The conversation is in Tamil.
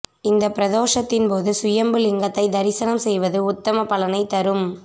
இந்தப் பிரதோஷத்தின் போது சுயம்பு லிங்கத்தைத் தரிசனம் செய்வது உத்தம பலனை தரும்